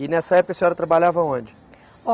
E nessa época a senhora trabalhava onde?